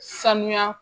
Sanuya